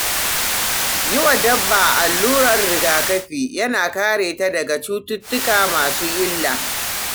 Yi wa dabba allurar rigakafi yana kare ta daga cututtuka masu illa.